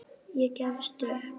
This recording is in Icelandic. Ég gefst upp